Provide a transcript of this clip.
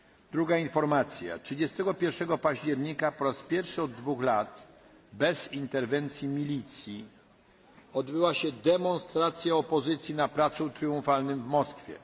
Druga informacja 31 października po raz pierwszy od dwóch lat bez interwencji milicji odbyła się demonstracja opozycji na Placu Tryumfalnym w Moskwie.